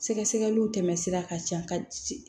Sɛgɛsɛgɛliw tɛmɛsira ka ca ka